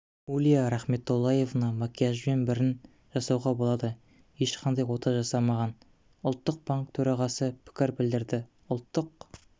улья рахметоллаевна макияжбен брін жасауға болады ешқандай да ота жасамаған ұлттық банк төрағасы пікір білдірді ұлттық